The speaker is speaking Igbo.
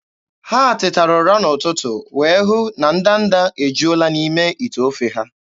Ha tetara ụra n'ụtụtụ wee hụ na ndanda ejuola n'ime ite ofe ha.